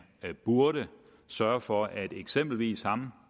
burde sørge for at eksempelvis ham